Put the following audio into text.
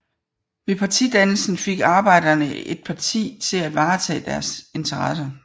Ved partidannelsen fik arbejderne et parti til at varetage deres interesser